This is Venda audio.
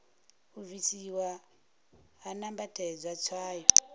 u bvisiwa ha nambatedzwa tswayo